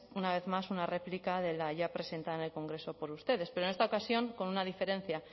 una vez más una réplica de la ya presentada por el congreso por ustedes pero en esta ocasión con una diferencia